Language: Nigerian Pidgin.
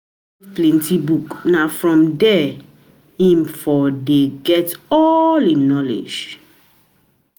plenty book, na from there im from there im get all im knowledge.